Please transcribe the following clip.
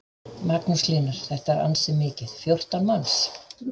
Magnús Hlynur: Þetta er ansi mikið, fjórtán manns?